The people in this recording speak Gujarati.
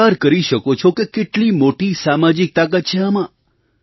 તમે વિચારી શકો છો કે કેટલી મોટી સામાજિક તાકાત છે આમાં